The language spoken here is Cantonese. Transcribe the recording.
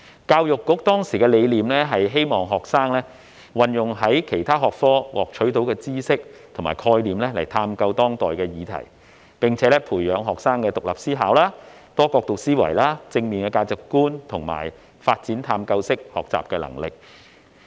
教育局當時的理念，是希望學生運用從其他學科獲取的知識和概念來探究當代議題，並且讓學生培養獨立思考、多角度思維和正面價值觀，以及發展探究式學習能力。